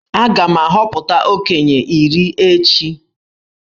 Aga m ahọpụta okenye iri echi.